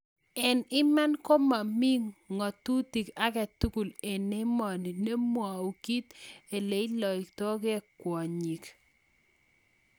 eng iman ko momi ng'otut agetugul eng emoni nemwou kiit neiloktogei kwonyik